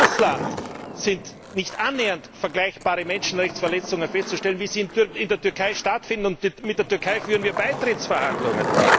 In Russland sind nicht annähernd vergleichbare Menschenrechtsverletzungen festzustellen, wie sie in der Türkei stattfinden, und mit der Türkei führen wir Beitrittsverhandlungen.